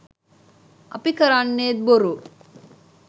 අපි කරන්නෙත් බොරු